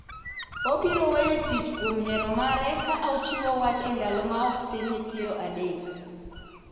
obiro weyo tich kuom hero mare ka ochiwo wach e ndalo ma ok tin ne piero adek